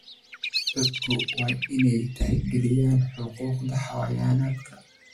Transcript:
Dadku waa inay tixgeliyaan xuquuqda xayawaanka.